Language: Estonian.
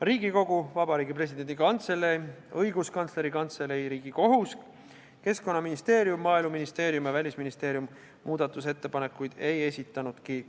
Riigikogu, Vabariigi Presidendi Kantselei, Õiguskantsleri Kantselei, Riigikohus, Keskkonnaministeerium, Maaeluministeerium ja Välisministeerium muudatusettepanekuid ei esitanud.